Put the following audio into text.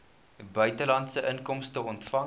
buitelandse inkomste ontvang